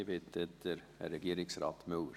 Ich bitte den Herrn Regierungsrat Müller.